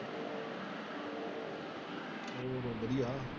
ਵਧੀਆ